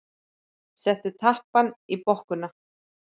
Settu tappann í bokkuna.